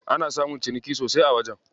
Ana samun ciniki sosai a wajen.